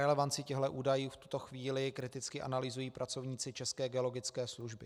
Relevanci těchto údajů v tuto chvíli kriticky analyzují pracovníci České geologické služby.